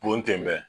Bon ten bɛɛ